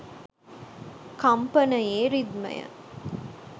කම්පණයේ රිද්මය